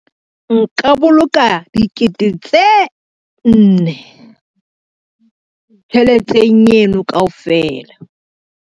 Nka boloka dikete tse nne tjheleteng eno kaofela.